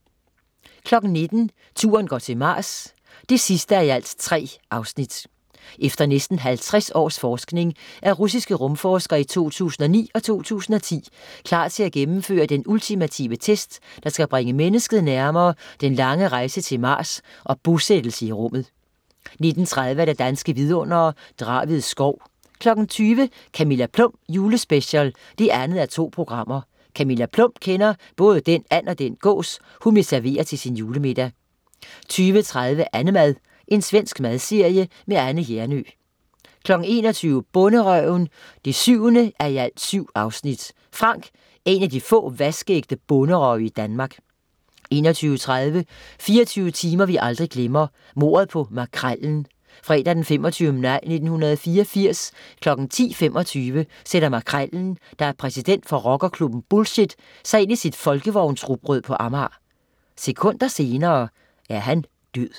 19.00 Turen går til Mars 3:3 Efter næsten 50 års forskning er russiske rumforskere i 2009 og 2010 klar til at gennemføre den ultimative test, der skal bringe mennesket nærmere den lange rejse til Mars og bosættelse i rummet 19.30 Danske Vidundere: Draved Skov 20.00 Camilla Plum julespecial 2:2 Camilla Plum kender både den and og den gås, hun vil servere til sin julemiddag 20.30 Annemad. svensk madserie. Anne Hjernøe 21.00 Bonderøven 7:7. Frank er en af de få vaskeægte bonderøve i Danmark 21.30 24 timer vi aldrig glemmer. Mordet på Makrellen. Fredag 25. maj 1984 kl. 10.25 sætter "Makrellen", der er præsident for rockerklubben Bullshit, sig ind i sit folkevognsrugbrød på Amager. Sekunder senere er han død